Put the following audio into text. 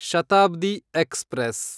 Shatabdi express